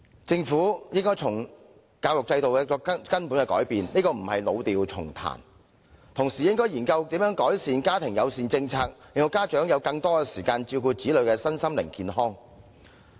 政府應對教育制度作出根本改變，這並不是老調重彈，更應研究如何改善家庭友善政策，令到家有更多時間照顧子女的身心健康。